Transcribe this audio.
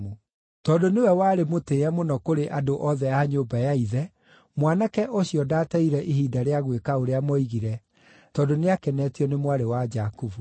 Tondũ nĩwe warĩ mũtĩĩe mũno kũrĩ andũ othe a nyũmba ya ithe, mwanake ũcio ndaateire ihinda rĩa gwĩka ũrĩa moigire, tondũ nĩakenetio nĩ mwarĩ wa Jakubu.